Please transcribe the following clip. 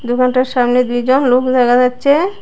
দোকানটার সামনে দুইজন লোক দেখা যাচ্ছে।